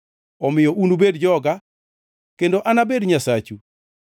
“ ‘Omiyo unubed joga, kendo anabed Nyasachu.’ ”